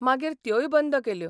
मागीर त्योय बंद केल्यो.